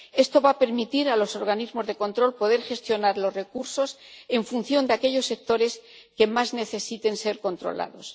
Esto va a permitir a los organismos de control poder gestionar los recursos en función de aquellos sectores que más necesiten ser controlados.